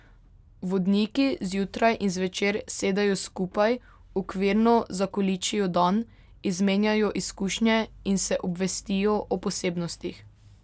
Vodniki zjutraj in zvečer sedejo skupaj, okvirno zakoličijo dan, izmenjajo izkušnje in se obvestijo o posebnostih.